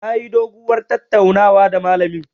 Nayi doguwar tattaunawa da malamin.